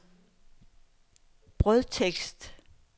brødtekst